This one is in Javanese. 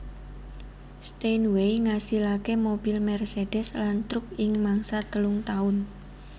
Steinway ngasilake mobil Mercedes lan truk ing mangsa telung taun